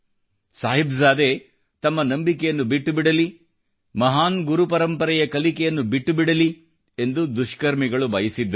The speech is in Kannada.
ಸಾಹಿಬ್ ಜಾದೆ ತಮ್ಮ ನಂಬಿಕೆಯನ್ನು ಬಿಟ್ಟುಬಿಡಲಿ ಮಹಾನ್ ಗುರು ಪರಂಪರೆಯ ಕಲಿಕೆಯನ್ನು ಬಿಟ್ಟುಬಿಡಲಿ ಎಂದು ದುಷ್ಕರ್ಮಿಗಳು ಬಯಸಿದ್ದರು